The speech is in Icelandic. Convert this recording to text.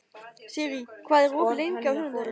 Sirrý, hvað er opið lengi á sunnudaginn?